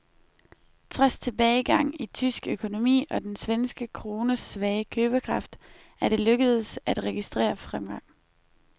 Trods tilbagegang i tysk økonomi og den svenske krones svage købekraft er det lykkedes at registrere fremgang.